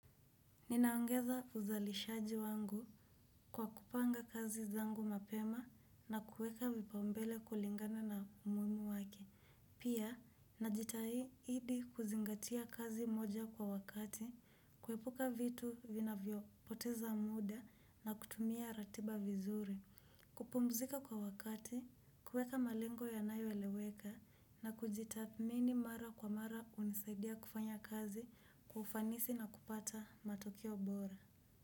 Ninaongeza uzalishaji wangu kwa kupanga kazi zangu mapema na kuweka vipaumbele kulingana na umuhimu wake. Pia, najitahidi kuzingatia kazi moja kwa wakati, kuepuka vitu vinavyopoteza muda na kutumia ratiba vizuri. Kupumzika kwa wakati, kuweka malengo yanayoeleweka, na kujitathmini mara kwa mara hunisaidia kufanya kazi, kwa ufanisi na kupata matokeo bora.